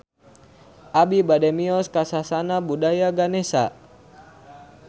Abi bade mios ka Sasana Budaya Ganesha